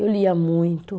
Eu lia muito.